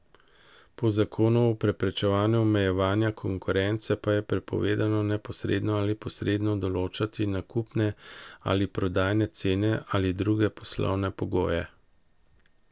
Po zakonu o preprečevanju omejevanja konkurence pa je prepovedano neposredno ali posredno določati nakupne ali prodajne cene ali druge poslovne pogoje.